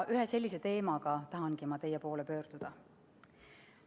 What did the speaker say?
Ühe sellise teemaga tahangi ma teie poole pöörduda.